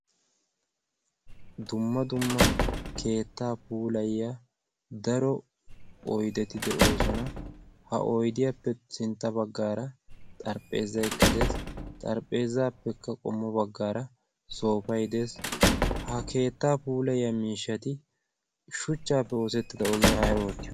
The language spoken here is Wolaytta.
dumma dumma keetta puulayiyaa daro oydetti de'oosona. ha oydiyaappe sintta baggara xarapheezzay de'ees. xarapheezappekka qommo baggara soofay de'ees. ha keetta puulayiyaa miishshati shuchchappe oosettida ogiyaan ay oottiyoona?